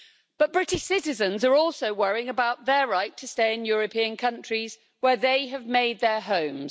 But British citizens are also worrying about their right to stay in European countries where they have made their homes.